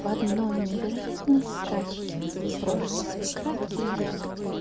в одной невероятной скачки вы прошли свой краткий век